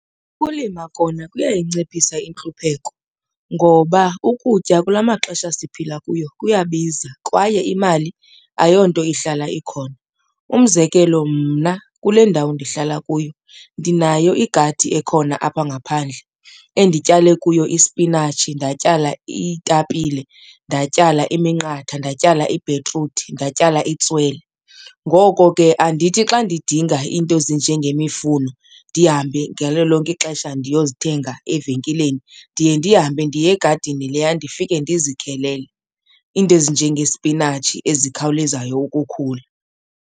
Ukulima kona kuyayinciphisa intlupheko ngoba ukutya kula maxesha siphila kuyo kuyabiza kwaye imali ayonto ihlala ikhona. Umzekelo, mna kule ndawo ndihlala kuyo ndinayo igadi ekhona apha ngaphandle endityale kuyo ispinatshi, ndatyala iitapile, ndatyala iminqatha, ndatyala i-betroot, ndatyala itswele. Ngoko ke andithi xa ndidinga iinto ezinjengemifuno ndihambe ngalo lonke ixesha ndiyozithenga evenkileni, ndiye ndihambe ndiye egadini leya ndifike ndizikhelele, iinto ezinjengespinatshi ezikhawulezayo ukukhula.